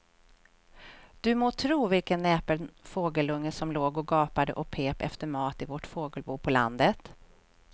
Du må tro vilken näpen fågelunge som låg och gapade och pep efter mat i vårt fågelbo på landet.